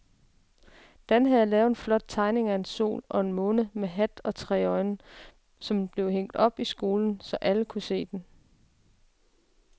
Dan havde lavet en flot tegning af en sol og en måne med hat og tre øjne, som blev hængt op i skolen, så alle kunne se den.